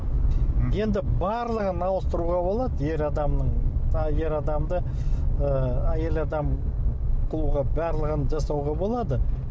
енді барлығын ауыстыруға болады ер адамның тағы ер адамды ы әйел адам қылуға барлығын жасауға болады